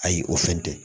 Ayi o fɛn tɛ